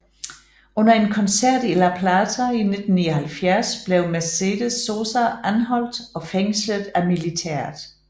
Under en koncert i La Plata i 1979 blev Mercedes Sosa anholdt og fængslet af militæret